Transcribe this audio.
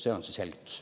See on selgitus.